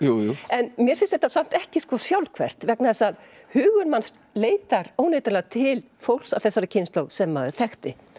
en mér finnst þetta samt ekki sjálfhverft vegna þess að hugur manns leitar óneitanlega til fólks af þessari kynslóð sem maður þekkti